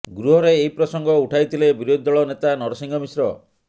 ଗୃହରେ ଏହି ପ୍ରସଙ୍ଗ ଉଠାଇଥିଲେ ବିରୋଧୀ ଦଳ ନେତା ନରସିଂହ ମିଶ୍ର